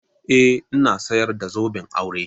Eh ina sayar da zoben aure.